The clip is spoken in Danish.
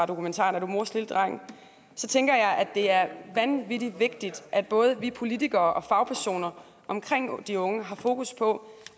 dokumentaren er du mors lille dreng tænker jeg at det er vanvittig vigtigt at både vi politikere og fagpersonerne omkring de unge har fokus på